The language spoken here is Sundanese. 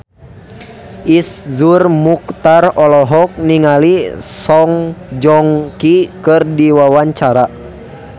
Iszur Muchtar olohok ningali Song Joong Ki keur diwawancara